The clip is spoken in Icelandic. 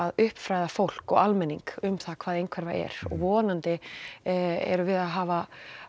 uppfræða fólk og almenning um það hvað einhverfa er vonandi erum við að hafa